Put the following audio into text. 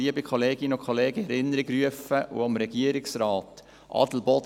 Liebe Kolleginnen und Kollegen, ich möchte Ihnen und dem Regierungsrat Folgendes in Erinnerung rufen: